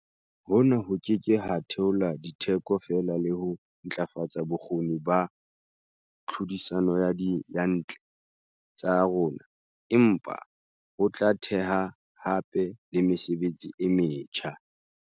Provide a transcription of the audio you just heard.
Hona ho ke ke ha theola ditheko fela le ho ntlafatsa bokgoni ba tlhodisano ya diyantle tsa rona, empa ho tla theha hape le mesebetsi e metjha.